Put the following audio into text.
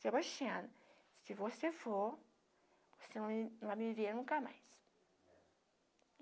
Sebastiana, se você for, você não vai me ver nunca mais.